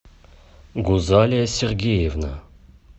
гузалия сергеевна